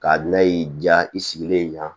K'a bila y'i diya i sigilen ɲan